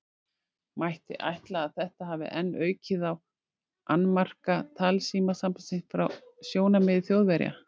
Mætti ætla, að þetta hafi enn aukið á annmarka talsímasambandsins frá sjónarmiði Þjóðverja.